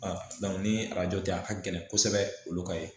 ni arajo tɛ a ka gɛlɛn kosɛbɛ olu ka ye